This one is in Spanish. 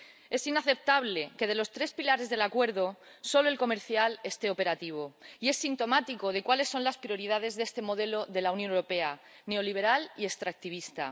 Es inaceptable que de los tres pilares del acuerdo solo el comercial esté operativo, y es sintomático de cuáles son las prioridades de este modelo de Unión Europea, neoliberal y extractivista.